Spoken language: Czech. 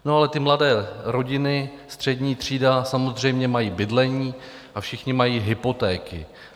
No, ale ty mladé rodiny, střední třída, samozřejmě mají bydlení a všichni mají hypotéky.